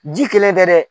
Ji kelen tɛ dɛ